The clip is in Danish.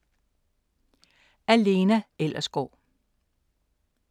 Af Lena Ellersgaard